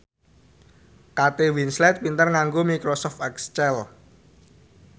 Kate Winslet pinter nganggo microsoft excel